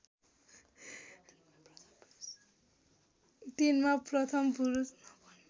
तिनमा प्रथम पुरुष